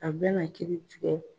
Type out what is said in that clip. A bɛna kiiri tigɛ.